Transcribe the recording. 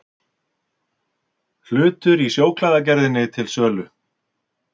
Hlutur í Sjóklæðagerðinni til sölu